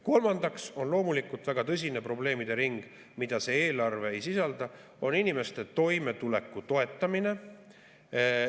Kolmandaks on loomulikult väga tõsine probleemide ring, mida see eelarve ei sisalda, nimelt inimeste toimetuleku toetamine.